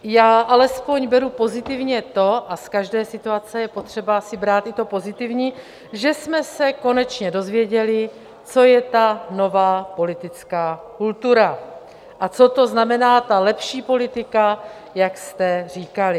Já alespoň beru pozitivně to - a z každé situace je potřeba si brát i to pozitivní - že jsme se konečně dozvěděli, co je ta nová politická kultura a co to znamená ta lepší politika, jak jste říkali.